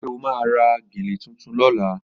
Ṣé o máa ra gèlè tuntun lọ́la?